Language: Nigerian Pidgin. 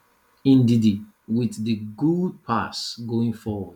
ndidi wit di good pass going forward